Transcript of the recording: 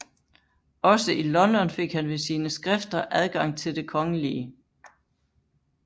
Også i London fik han ved sine skrifter adgang til det kgl